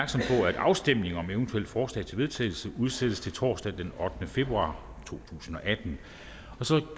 at afstemning om eventuelle forslag til vedtagelse udsættes til torsdag den ottende februar to tusind og atten så